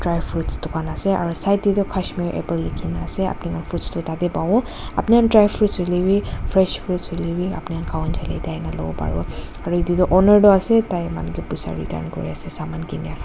fruits dukan ase aro side tey tu Kashmir apple likhina ase apuni khan fruits tu tatey pawo apuni han dry fruits huilewi fresh fruits huilewi apuni khan khawole munjai le yatey ahina luwo pariwo aro yetey toh owner ase tai manu ke puisa return kuri ase saman kinia la.